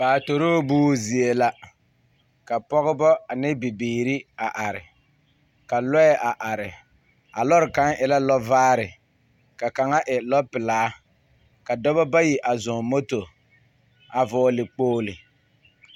Paatoroo buuzie la, ka Pɔgebɔ ane bibiiri a are. Ka lɔɛ a are. A lɔre kaŋa e la lɔvaare, ka kaŋa e lɔpelaa. ka dɔbɔ bayi a zɔŋ moto a vɔgele kpogele.